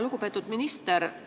Lugupeetud minister!